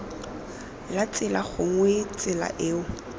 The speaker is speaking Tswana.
la tsela gongwe tsela eo